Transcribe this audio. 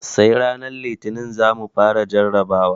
Sai ranar Litinin za mu fara jarabawa.